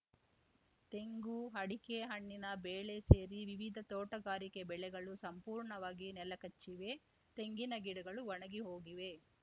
ತೆಂಗು ಅಡಿಕೆ ಹಣ್ಣಿನ ಬೇಳೆ ಸೇರಿ ವಿವಿಧ ತೋಟಗಾರಿಕೆ ಬೆಳೆಗಳು ಸಂಪೂರ್ಣವಾಗಿ ನೆಲ ಕಚ್ಚಿವೆ ತೆಂಗಿನ ಗಿಡಗಳು ಒಣಗಿ ಹೋಗಿವೆ